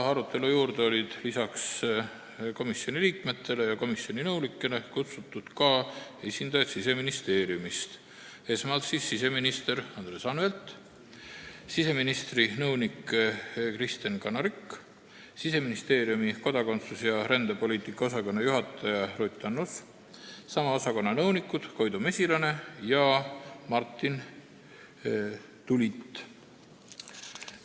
Lisaks komisjoni liikmetele ja nõunikele olid arutelule kutsutud Siseministeeriumi esindajad: siseminister Andres Anvelt, siseministri nõunik Kristen Kanarik, Siseministeeriumi kodakondsus- ja rändepoliitika osakonna juhataja Ruth Annus ning sama osakonna nõunikud Koidu Mesilane ja Martin Tulit.